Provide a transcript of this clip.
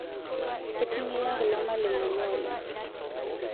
Eting'iria kulo malimuni oleng'